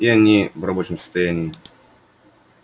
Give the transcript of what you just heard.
и они в рабочем состоянии